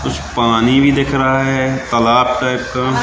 कुछ पानी भी दिख रहा है तालाब टाइप का।